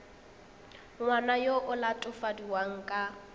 ngwana yo o latofadiwang ka